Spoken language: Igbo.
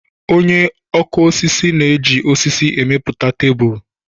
Onye ọkụ osisi na-eji osisi emepụta tebulu.